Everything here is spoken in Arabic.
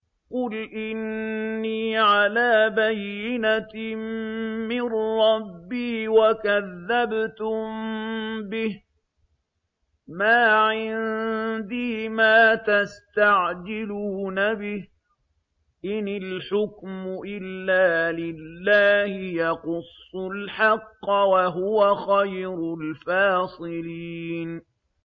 قُلْ إِنِّي عَلَىٰ بَيِّنَةٍ مِّن رَّبِّي وَكَذَّبْتُم بِهِ ۚ مَا عِندِي مَا تَسْتَعْجِلُونَ بِهِ ۚ إِنِ الْحُكْمُ إِلَّا لِلَّهِ ۖ يَقُصُّ الْحَقَّ ۖ وَهُوَ خَيْرُ الْفَاصِلِينَ